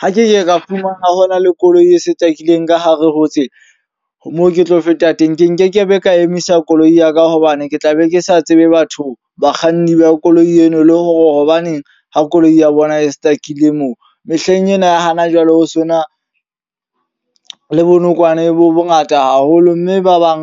Ha ke ka fumana ho na le koloi e stuck-ileng ka hare ho tsela moo ke tlo feta teng. Ke nkekebe ka emisa koloi ya ka hobane ke tla be ke sa tsebe batho, bakganni ba koloi eno. Le hore hobaneng ha koloi ya bona e stuck-ile moo. Mehleng ena ya hana jwale ho so na le bonokwane bo bo ngata haholo. Mme ba bang